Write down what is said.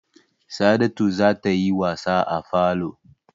Sa'adatu za ta yi wasa a falo.